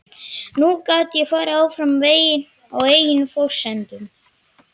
Nú gat ég farið áfram veginn á eigin forsendum.